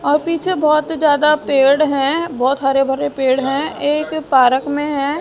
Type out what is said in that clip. और पीछे बहोत ज्यादा पेड़ है बहोत हरे भरे पेड़ हैं एक पार्क में है।